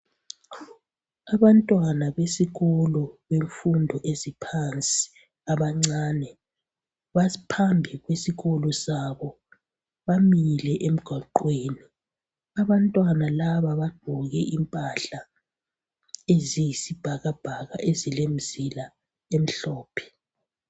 Abantwana besikolo bemfundo eziphansi abancane baphambi kwesikolo sabo bamile emgwaqweni abantwana laba bagqoke impahla eziyisibhakabhaka ezilemzila emhlophe.